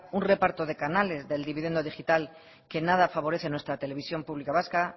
un reparto de canales del dividendo digital que nada favorece a nuestra televisión pública vasca